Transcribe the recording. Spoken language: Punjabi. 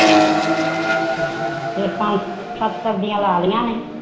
ਅੱਛਾ ਅੱਛਾ ਫਿਰ ਛੇ ਸੱਤ ਸਬਜੀਆਂ ਲਾਈਆ ਨੇ